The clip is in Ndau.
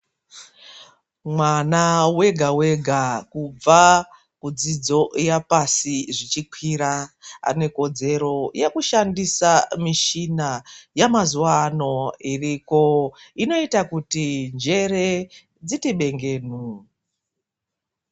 Mwana wega wega kubva kudzidzo yapasi zvichikwira, anekodzero yekushandisa michina yemazuwa ano iriko inoita kuti njere dziti bengenu.